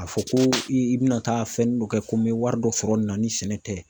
A fɔ ko i bɛna taa fɛnnin dɔ kɛ ko n bɛ wari dɔ sɔrɔ nin na ni sɛnɛ tɛ.